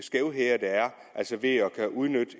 skævheder der er ved at udnytte